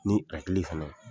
Ni hakili fana